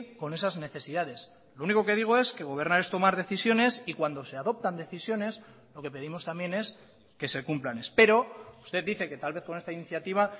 con esas necesidades lo único que digo es que gobernar es tomar decisiones y cuando se adoptan decisiones lo que pedimos también es que se cumplan espero usted dice que tal vez con esta iniciativa